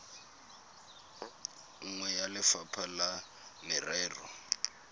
nngwe ya lefapha la merero